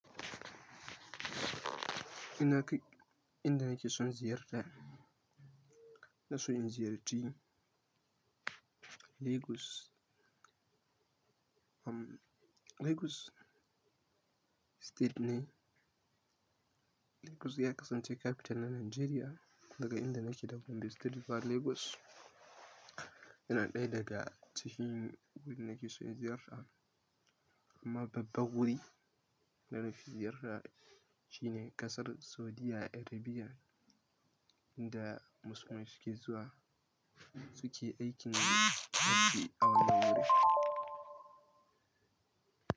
Inna kai, inda nake son ziyarta, ina so in ziyarci Lagos. Um, Lagos State ne. Lagos ya kasance capital na Nigeria. Daga inda nake daga gombe state zuwa Lagos. Yana ɗaya daga cikin wurin da nake so in ziyarta. Amma babbar wuri da nafi ziyarta shine ƙasar Saudi Arabia, inda musulmai suke zuwa suke aikin hajji a wannan wuri.